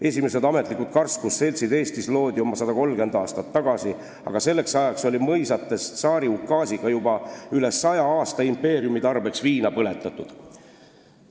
Esimesed ametlikud karskusseltsid Eestis loodi oma 130 aastat tagasi, aga selleks ajaks oli mõisates tsaari ukaasiga juba üle 100 aasta impeeriumi tarbeks viina põletatud.